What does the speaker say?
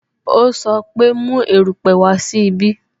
O sọ pe "Mu erupe wá sí ibí "